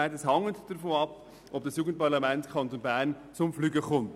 Dies hängt davon ab, ob das Jugendparlament im Kanton Bern «zum Fliegen kommt».